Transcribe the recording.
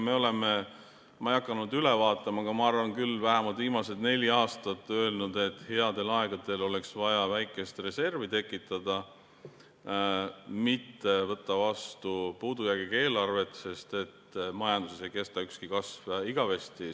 Ma ei hakanud üle vaatama, aga ma arvan küll, et me oleme vähemalt viimased neli aastat öelnud, et headel aegadel oleks vaja väikest reservi tekitada, mitte võtta vastu puudujäägiga eelarvet, sest majanduses ei kesta ükski kasv igavesti.